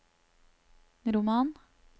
roman